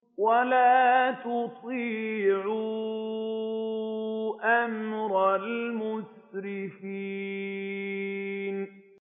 وَلَا تُطِيعُوا أَمْرَ الْمُسْرِفِينَ